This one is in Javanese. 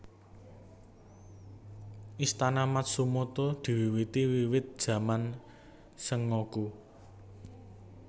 Istana Matsumoto diwiwiti wiwit jaman Sengoku